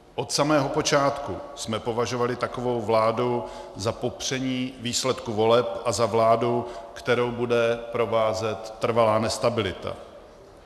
Od samého počátku jsme považovali takovou vládu za popření výsledku voleb a za vládu, kterou bude provázet trvalá nestabilita.